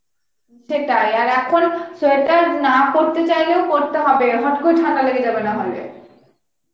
সেটাই আর এখন sweater না পড়তে চাইলেও পড়তে হবে, হত করে ঠান্ডা লেগে যাবে নাহলে